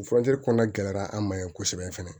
Furakɛli kɔnɔna gɛlɛyara an ma yen kosɛbɛ fɛnɛ